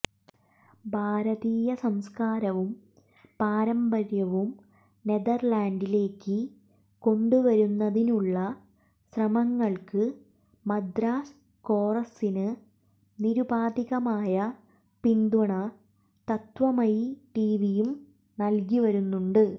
ഭാരതീയ സംസ്കാരവും പാരമ്പര്യവും നെതർലാൻഡിലേക്ക് കൊണ്ടുവരുന്നതിനുള്ള ശ്രമങ്ങൾക്ക് മദ്രാസ് കോറസിന് നിരുപാധികമായ പിന്തുണ തത്വമയി ടിവിയും നൽകി വരുന്നുണ്ട്